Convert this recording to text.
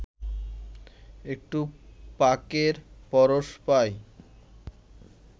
একটু পাকের পরশ পাই